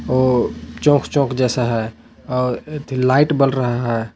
वो चोंख चोंख जैसा है और एथी लाइट बर रहा है।